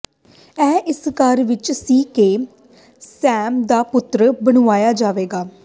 ਇਹ ਇਸ ਘਰ ਵਿੱਚ ਸੀ ਕਿ ਸੈਮ ਦਾ ਪੁੱਤਰ ਬਣਾਇਆ ਜਾਵੇਗਾ